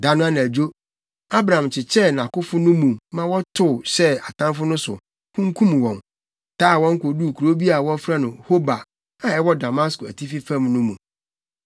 Da no anadwo, Abram kyekyɛɛ nʼakofo no mu ma wɔtow hyɛɛ atamfo no so, kunkum wɔn, taa wɔn koduu kurow bi a wɔfrɛ no Hoba a ɛwɔ Damasko atifi fam no mu.